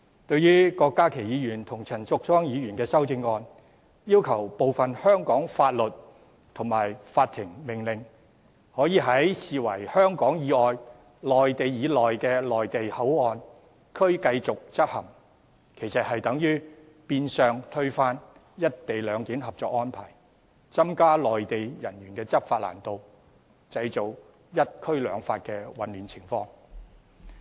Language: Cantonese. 對於郭家麒議員和陳淑莊議員的修正案，要求部分香港法律及法庭命令可以在被視為處於香港以外並處於內地以內的內地口岸區繼續執行，其實變相推翻《合作安排》，增加內地人員的執法難度，製造"一區兩法"的混亂情況。